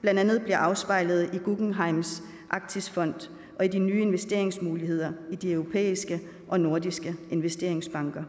blandt andet bliver afspejlet i guggenheims arktisfond og i de nye investeringsmuligheder i de europæiske og nordiske investeringsbanker